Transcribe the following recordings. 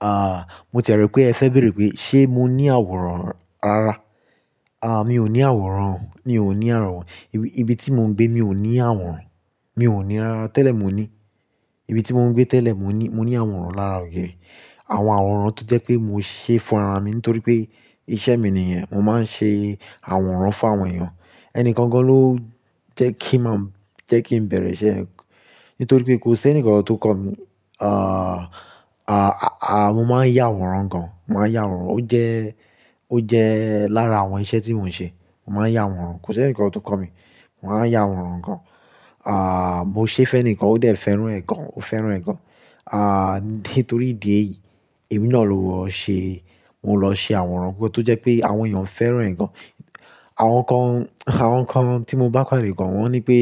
Ah, mo tẹ̀ rò pé ẹ fẹ́ bèèrè pé ṣé mo ní àwòrán rara? Ah, mi ò ní àwòrán, mi ò ní àwòrán. Ibi tí mò ń gbé, mi ò ní àwòrán. Mi ò ní rara, tẹ́lẹ̀ mo ní. Ibi tí mò ń gbé tẹ́lẹ̀, mo ní, mo ní àwòrán lára ògiri. Àwọn àwòrán tó jẹ́ pé mo ṣe fún ara mi nítorí pé iṣẹ́ mi nìyẹn. Mo máa ń ṣe àwòrán fún àwọn èèyàn. Ẹnikan gan ló jẹ́ kí màá, jẹ́ kí n bẹ̀rẹ̀ iṣẹ́ ẹn. Nítorí pé kò sí ẹnìkan kan tó kọ̀ mí. Ah, ah, ah, mo máa ń yà àwòrán gan. Mo máa ń yà àwòrán. Ó jẹ́, ó jẹ́ lára àwọn iṣẹ́ tí mò ń ṣe. Mo máa ń yà àwòrán. Kò sí ẹnìkan tó kọ̀ mí. Mo máa ń yà àwòrán gan. Ah, mo ṣe fẹ́ ẹnìkan ó dà ẹ́ fẹ́ràn ẹ̀ gan, ó fẹ́ràn ẹ̀ gan. Ah, nítorí ìdí èyí, èmi náà ló wọ́n ṣe. Mo lọ ṣe àwòrán kan tó jẹ́ pé àwọn èèyàn fẹ́ràn ẹ̀ gan. Àwọn kan, àwọn kan tí mo bá pàdé gan, wọ́n ní pé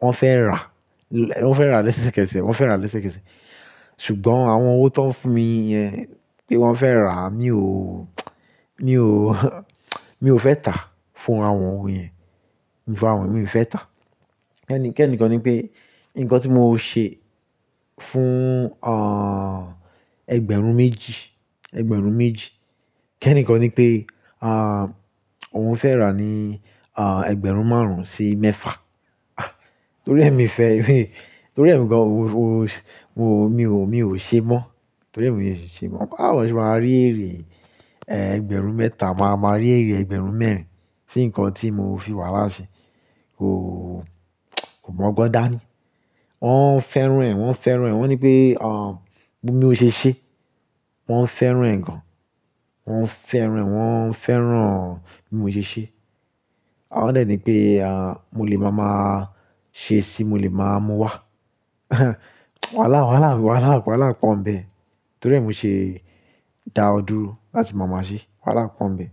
wọ́n fẹ́ rà. Wọ́n fẹ́ rà lẹ́sẹ̀kẹsẹ̀, wọ́n fẹ́ rà lẹ́sẹ̀kẹsẹ̀. Ṣùgbọ́n àwọn owó tó ń fún mi yẹn pé wọ́n fẹ́ rà, mi ò, mi ò, mi ò fẹ́ tà fún àwọn òun yẹn. Ìfá wọn mii fẹ́ tà. Kẹ́ẹ̀ní, kẹ́ẹ̀ní kan ní pé nǹkan tí mo ṣe fún, ah, ẹgbẹ̀rún méjì, ẹgbẹ̀rún méjì. Kẹ́ẹ̀ní kan ní pé, ah, òun fẹ́ rà ní, ah, ẹgbẹ̀rún márùn-ún sí mẹ́fà. Ah, torí ẹ mii fẹ́, torí ẹ̀mi gan òun, mo, mi ò, mi ò ṣe mọ́. Torí ẹ̀ mi ò ṣi ṣe mọ́. Bawo mk ṣe máa rí èrè, eh, ẹgbẹ̀rún mẹ́ta máa ma rí èrè ẹgbẹ̀rún mẹ́rin sí nǹkan tí mo fi wàala sẹ. Kò, kò mọ gbọn da ni. Wọ́n fẹ́ràn ẹ̀, wọ́n fẹ́ràn ẹ̀. Wọ́n ní pé, ah, bí mo ṣe ṣé, wọ́n fẹ́ràn ẹ̀ gan. Wọ́n fẹ́ràn, wọ́n fẹ́ràn bí mo ṣe ṣé. A ò dẹ ni pé, ah, mo lè máa máa ṣe sí, mo lè máa mú wá. Wàhálà, wàhálà, wàhálà, wàhálà pọ́n bẹ́ẹ̀. Torí ẹ mo ṣe dawọ duro láti màmá ṣí. Wàhálà pọ́n bẹ́ẹ̀.